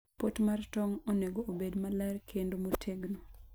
pot mar tong' onego obed maler kendo motegno.